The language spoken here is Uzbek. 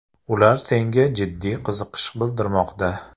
Ular senga jiddiy qiziqish bildirmoqda.